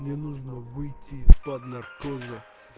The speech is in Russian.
мне нужно выйти из-под наркоза